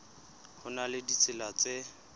ho na le ditsela tse